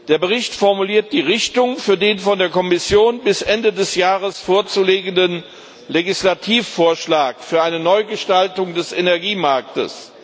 Der Bericht formuliert die Richtung für den von der Kommission bis Ende des Jahres vorzulegenden Legislativvorschlag für eine Neugestaltung des Energiemarktes.